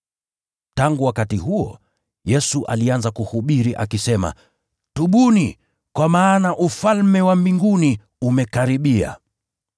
Tangu wakati huo, Yesu alianza kuhubiri akisema: “Tubuni, kwa maana Ufalme wa Mbinguni umekaribia.”